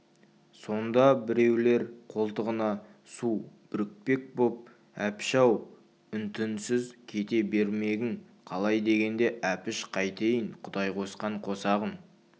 сонда біреулер қолтығына су бүрікпек боп әпіш-ау үн-түнсіз кете бермегің қалай дегенде әпіш қайтейін құдай қосқан қосағым